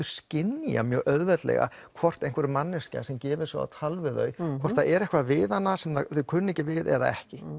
skynja mjög auðveldlega hvort manneskja sem gefur sig á tal við þau hvort það er eitthvað við hana sem þau kunni ekki við eða ekki